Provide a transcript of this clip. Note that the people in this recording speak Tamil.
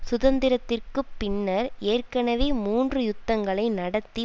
சுதந்திரத்திற்கு பின்னர் ஏற்கனவே மூன்று யுத்தங்களை நடத்தி